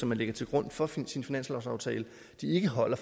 man lægger til grund for sin sin finanslovsaftale ikke holder